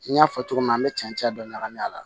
N y'a fɔ cogo min na an bɛ cɛncɛn dɔ ɲagami a la